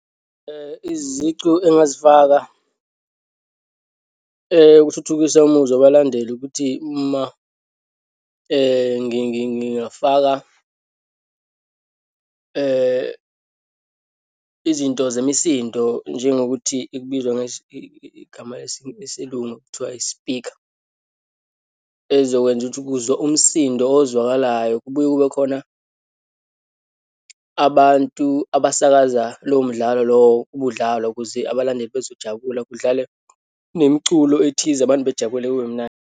Izicu engingazifaka ukuthuthukisa umuzwa wabalandeli ukuthi uma ngingafaka izinto zemisindo, njengokuthi ikubizwa igama lesiLungu, kuthiwa yi-speaker, ezokwenza ukuthi kuzwe umsindo ozwakalayo. Kubuye kube khona abantu abasakaza lowo mdlalo lowo ubudlalwa ukuze abalandeli bezojabula, kudlalwe nemiculo ethize, abantu bejabule kube mnandi.